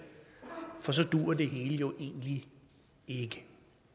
for så duer det hele jo egentlig ikke